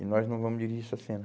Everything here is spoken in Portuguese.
E nós não vamos dirigir essa cena.